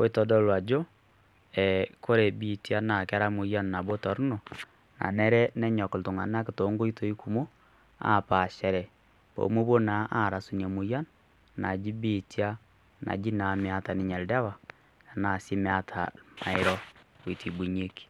oitodolu ajo,e kore biitia na kera moyian nabo torrono, nanare nenyok iltung'anak tonkoitoi kumok, apaashare pomopuo naa aras ina moyian, naji biitia, naji naa meeta ninye oldawa, enaa si meeta irmairo oitibunyeki.